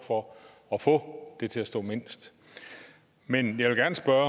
for at få der til at stå mindst men jeg vil gerne spørge